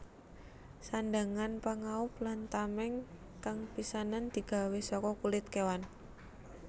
Sandhangan pangaub lan tameng kang pisanan digawé saka kulit kewan